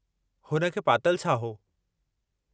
हुन खे पातलु छा हो?